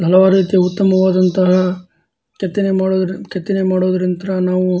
ಹಲವಾರು ರೀತಿಯ ಉತ್ತಮವಾದಂತಹ ಕೆತ್ತನೆ ಮಾಡು ಕೆತ್ತನೆ ಮಾಡುವುದರಿಂದ ನಾವು --